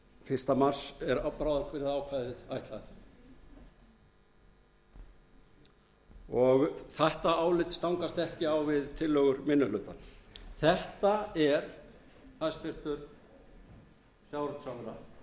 fyrsta mars er bráðabirgðaákvæðið ætlað og þetta álit stangast ekki á við tillögur minni hlutans þetta er hæstvirtur sjávarútvegsráðherra stærsta tækifærið